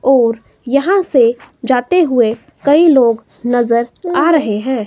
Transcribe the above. और यहां से जाते हुए कई लोग नजर आ रहे हैं।